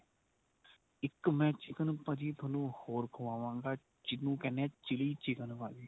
ਇੱਕ ਮੈਂ chicken ਭਾਜੀ ਤੁਹਾਨੂੰ ਹੋਰ ਖਵਾਵਾਗਾ ਜਿਹਨੂੰ ਕਹਿਣੇ ਏ chilly chicken ਭਾਜੀ